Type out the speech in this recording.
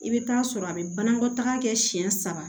I bɛ taa sɔrɔ a bɛ banakɔtaga kɛ siɲɛ saba